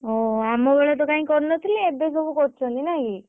ଓହୋ, ଆମ ବେଳେ ତ କାଇଁ କରିନଥିଲେ ଏବେ ସବୁ କରୁଛନ୍ତି ନାଇଁ କି?